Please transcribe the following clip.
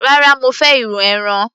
rárá, mo fẹ́ irú ẹran